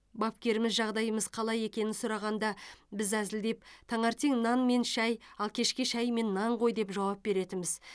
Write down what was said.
бапкеріміз жағдайымыз қалай екенін сұрағанда біз әзілдеп таңертең нан мен шай ал кешке шай мен нан ғой деп жауап беретінбіз